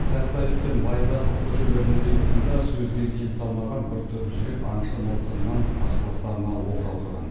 сәтбаев пен байзақов көшелерінің қиылысында сөзге келісе алмаған бір топ жігіт аңшы мылтығынан қарсыластарына оқ жаудырған